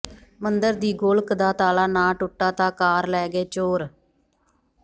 ਮੰਦਰ ਦੀ ਗੋਲਕ ਦਾ ਤਾਲਾ ਨਾ ਟੁੱਟਾ ਤਾਂ ਕਾਰ ਲੈ ਗਏ ਚੋਰ